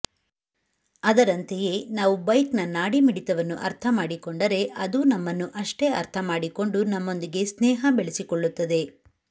ಅದರಂತೆಯೇ ನಾವು ಬೈಕ್ನ ನಾಡಿ ಮಿಡಿತವನ್ನು ಅರ್ಥ ಮಾಡಿಕೊಂಡರೆ ಅದೂ ನಮ್ಮನ್ನು ಅಷ್ಟೇ ಅರ್ಥ ಮಾಡಿಕೊಂಡು ನಮ್ಮಂದಿಗೆ ಸ್ನೇಹ ಬೆಳೆಸಿಕೊಳ್ಳುತ್ತದೆ